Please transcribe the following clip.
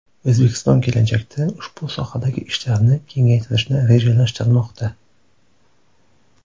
O‘zbekiston kelajakda ushbu sohadagi ishlarni kengaytirishni rejalashtirmoqda.